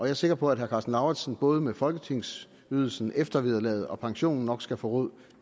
er sikker på at herre karsten lauritzen både med folketingsydelsen eftervederlaget og pensionen nok skal få råd